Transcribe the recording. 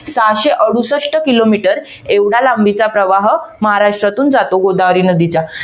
सहाशे अडुसष्ठ किलोमीटर एवढा लांबीचा प्रवाह महाराष्ट्रातून जातो. गोदावरी नदीच्या